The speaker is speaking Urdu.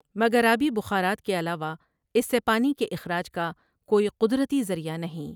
مگر آبی بخارات کے علاوہ اس سے پانی کے اخراج کا کوئی قدرتی ذریعہ نہیں ۔